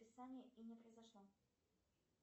списание и не произошло